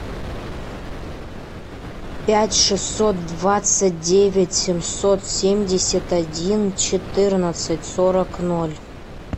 пять шестьсот двадцать девять семьсот семьдесят один четырнадцать сорок ноль